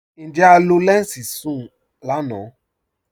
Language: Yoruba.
Njẹ́ à lọ lẹnsí sùn-un lànà?